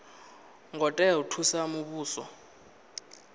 ngo tea u thusa muvhuso